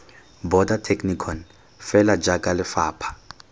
border technikon fela jaaka lefapha